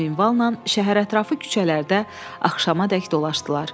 Bu minvalla şəhərətrafı küçələrdə axşamədək dolaşdılar.